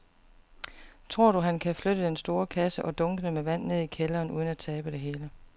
Tror du, at han kan flytte den store kasse og dunkene med vand ned i kælderen uden at tabe det hele?